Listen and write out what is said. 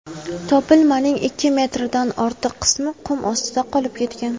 Topilmaning ikki metrdan ortiq qismi qum ostida qolib ketgan.